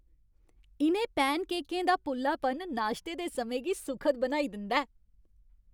इ'नें पैनकेकें दा पुल्लापन नाश्ते दे समें गी सुखद बनाई दिंदा ऐ।